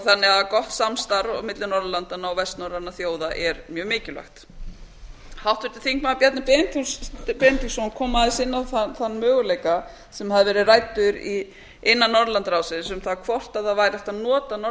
þannig að gott samstarf milli norðurlandanna og vestnorrænna þjóða er mjög mikilvægt háttvirtur þingmaður bjarni benediktsson kom aðeins inn á þann möguleika sem hefur verið ræddur innan norðurlandaráðsins um það hvort það væri hægt